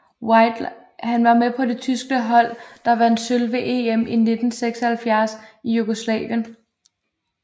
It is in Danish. Han var med på det tyske hold der vandt sølv ved EM i 1976 i Jugoslavien